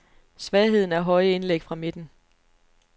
Svagheden er høje indlæg fra midten.